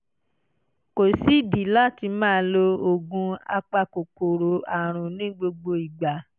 kò sídìí láti máa lo oògùn apakòkòrò àrùn ní gbogbo ìgbà